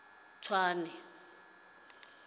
tswane